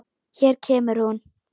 Hér kemur hún.